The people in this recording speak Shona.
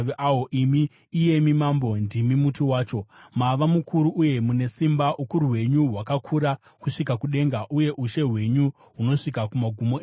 imi, iyemi mambo, ndimi muti wacho! Mava mukuru uye mune simba; ukuru hwenyu hwakakura kusvika kudenga, uye ushe hwenyu hunosvika kumagumo enyika.